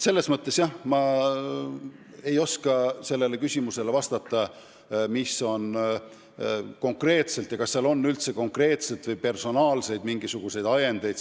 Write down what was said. Nii et jah, ma ei oska vastata, mis konkreetselt nende otsuse taga on ja kas seal üldse on konkreetseid või personaalseid ajendeid.